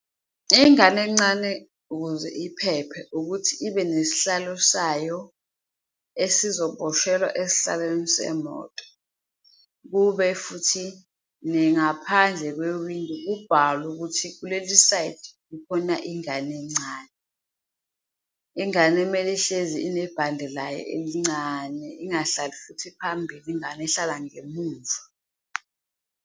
Ingane encane ukuze iphephe ukuthi ibe nesihlalo sayo esizoboshelwa esihlalweni semoto, kube futhi ngaphandle kwewindi kubhalwe ukuthi kuleli sayidi kukhona ingane encane. Ingane kumele ihlezi inebhande layo elincane ingahlali futhi phambili, ingane ihlala ngemumva.